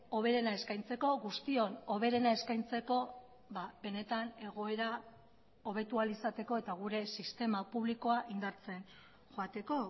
hoberena eskaintzeko guztion hoberena eskaintzeko benetan egoera hobetu ahal izateko eta gure sistema publikoa indartzen joateko